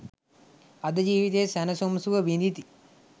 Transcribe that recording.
අද ජීවිතයේ සැනසුම් සුව විඳිති.